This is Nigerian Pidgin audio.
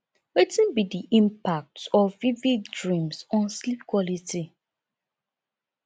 wetin be di impact of vivid dreams on sleep quality